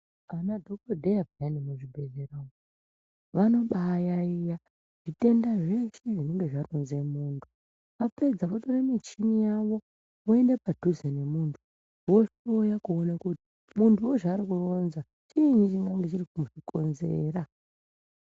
Anadhokodheya peyani muzvibhehleya umu vanobaayaiya zvitenda zveshe zvinenge zvaronze muntu. Vapedza votore michini yavo, voende padhuze nemuntu vohloya kuona kuti muntuwo zvaarikuronza, chiinyi chingange chiri kuzvikonzera.